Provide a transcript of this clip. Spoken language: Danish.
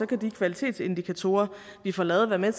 kan de kvalitetsindikatorer vi får lavet være med